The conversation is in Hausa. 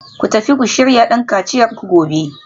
Ku tafi ku shirya don kaciyarku gobe